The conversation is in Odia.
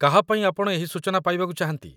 କାହା ପାଇଁ ଆପଣ ଏହି ସୂଚନା ପାଇବାକୁ ଚାହାନ୍ତି?